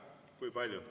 Kui palju?